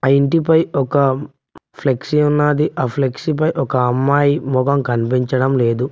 ఆ ఇంటిపై ఒక ఫ్లెక్సీ ఉన్నాది ఆ ఫ్లెక్సీ పై ఒక అమ్మాయి మొకం కనిపించడం లేదు.